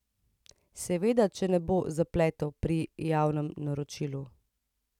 Seveda če ne bo zapletov pri javnem naročilu.